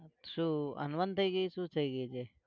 શું અનબન થઇ ગઈ? શું થઇ ગયું છે?